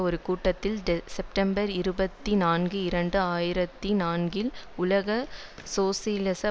ஒரு கூட்டத்தில் செப்டம்பர் இருபத்தி நான்கு இரண்டு ஆயிரத்தி நான்கில் உலக சோசியலிச